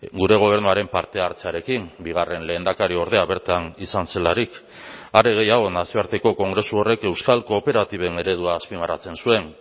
gure gobernuaren parte hartzearekin bigarren lehendakariordea bertan izan zelarik are gehiago nazioarteko kongresu horrek euskal kooperatiben eredua azpimarratzen zuen